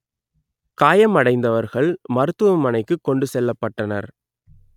காயம் அடைந்தவர்கள் மருத்துவமனைக்கு கொண்டு செல்லப்பட்டனர்